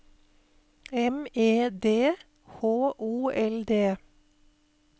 M E D H O L D